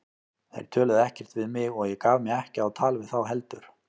Þeir töluðu ekkert við mig og ég gaf mig ekki á tal við þá heldur.